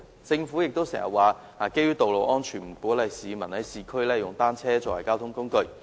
政府也經常表示，基於道路安全，不鼓勵市民在市區使用單車作為交通工具。